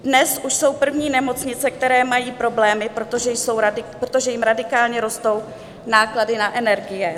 Dnes už jsou první nemocnice, které mají problémy, protože jim radikálně rostou náklady na energie.